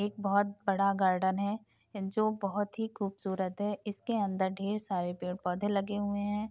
एक बोहोत बड़ा गार्डन है जो बोहोत ही खूबसूरत है इसके अंदर ढेर सारे पेड़ -पौधे लगे हुए हैं।